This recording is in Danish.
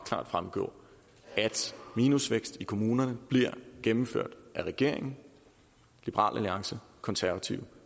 klart fremgå at minusvækst i kommunerne bliver gennemført af regeringen liberal alliance konservative